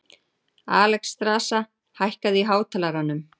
Alexstrasa, hækkaðu í hátalaranum.